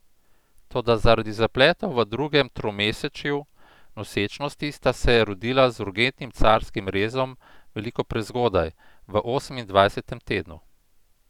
Toda zaradi zapletov v drugem tromesečju nosečnosti sta se rodila z urgentnim carskim rezom veliko prezgodaj, v osemindvajsetem tednu.